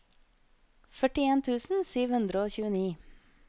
førtien tusen sju hundre og tjueni